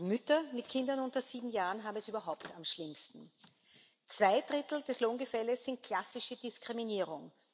Mütter mit Kindern unter sieben Jahren haben es überhaupt am schlimmsten Zwei Drittel des Lohngefälles sind klassische Diskriminierung.